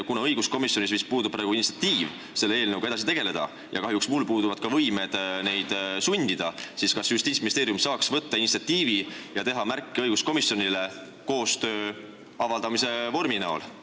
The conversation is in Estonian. Kuna õiguskomisjonis vist puudub praegu initsiatiiv selle eelnõuga edasi tegeleda – ja kahjuks minul puuduvad ka võimed neid sundida –, siis kas Justiitsministeerium saaks näidata üles initsiatiivi ja teha märke õiguskomisjonile koostöö avaldamise vormi näol?